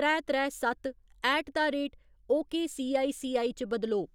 त्रै त्रै सत्त ऐट द रेट ओकेसीआईसीआई च बदलो।